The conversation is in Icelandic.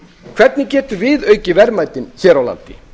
hvernig getum við aukið verðmætin hér á landi